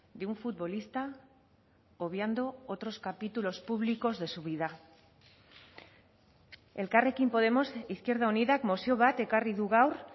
de un futbolista obviando otros capítulos públicos de su vida elkarrekin podemos izquierda unidak mozio bat ekarri du gaur